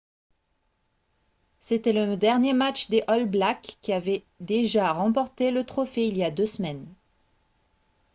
c'était le dernier match des all blacks qui avaient déjà remporté le trophée il y a deux semaines